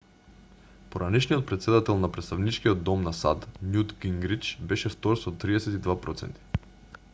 поранешниот претседател на претставничкиот дом на сад њут гингрич беше втор со 32 проценти